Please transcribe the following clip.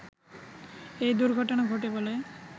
এই দুর্ঘটনা ঘটে বলে